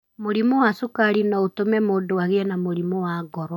Mũrimũ wa cukari no ũtũme mũndũ agĩe na mũrimũ wa ngoro.